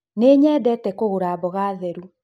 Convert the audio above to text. Nĩnyendete kũgũra mboga therũ